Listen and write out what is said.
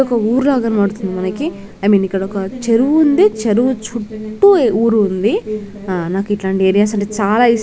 ఒక ఊరులగా కనబడుతుంది మనకి ఐ మీన్ ఇక్కడ ఒక చెరువు ఉంది చెరువు చుటూ ఊరు ఉంది ఆ నాకు ఇట్లాంటి ఏరియాస్ అంటే చాలా ఇస్టం--